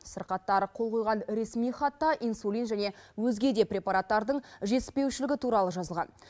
сырқаттар қол қойған ресми хатта инсулин және өзге де препараттардың жетіспеушілігі туралы жазылған